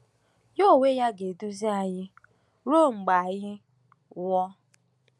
Ya onwe ya ga-eduzi anyị ruo mgbe anyị nwụọ.”